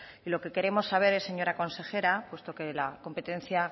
y lo que queremos saber es señora consejera puesto que la competencia